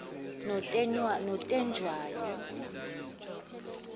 notetshwayo